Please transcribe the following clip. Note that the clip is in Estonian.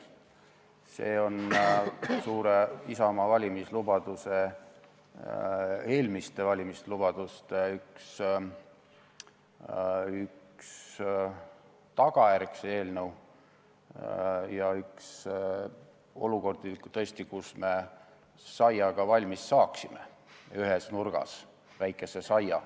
See eelnõu on Isamaa eelmiste valimislubaduste üks tagajärgi ja üks olukordi, kus me ühes nurgas saia ka valmis saaksime, väikese saia.